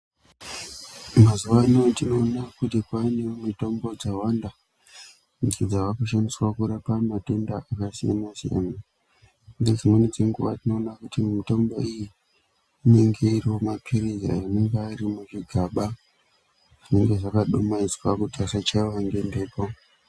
Mazuva ano tnoona kuti kwava nemitombo dzakawanda idzo dzava kushandiswa kurapa matenda akasiyana siyana nedzimweni dzenguva tinoona kuti mitombo iyi inenge iri womapilizi anenge ari muzvigaba zvinenge zvakadumaidziwa kuti asa chayiwa ngemhepo.